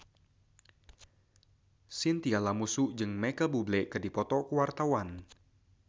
Chintya Lamusu jeung Micheal Bubble keur dipoto ku wartawan